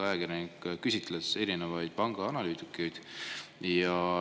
Ajakirjanik küsitles erinevaid pangaanalüütikuid.